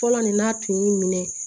Fɔlɔ nin n'a tun y'i minɛ